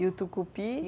E o tucupi?